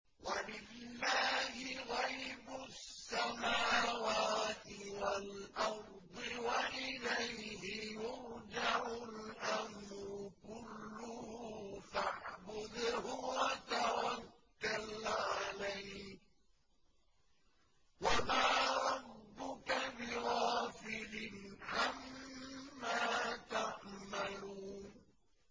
وَلِلَّهِ غَيْبُ السَّمَاوَاتِ وَالْأَرْضِ وَإِلَيْهِ يُرْجَعُ الْأَمْرُ كُلُّهُ فَاعْبُدْهُ وَتَوَكَّلْ عَلَيْهِ ۚ وَمَا رَبُّكَ بِغَافِلٍ عَمَّا تَعْمَلُونَ